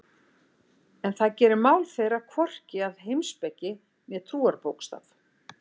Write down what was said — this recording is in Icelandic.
En það gerir mál þeirra hvorki að heimspeki né trúarbókstaf.